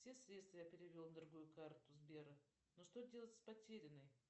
все средства я перевел на другую карту сбера но что делать с потерянной